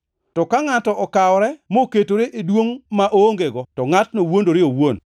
To ka ngʼato okawore moketore e duongʼ ma oongego, to ngʼatno wuondore owuon.